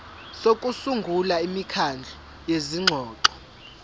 sokusungula imikhandlu yezingxoxo